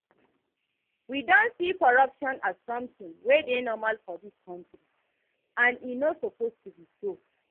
We don see corruption as something wey dey normal for dis country, and e no suppose to be so